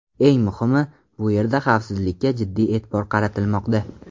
Eng muhimi, bu yerda xavfsizlikka jiddiy e’tibor qaratilmoqda.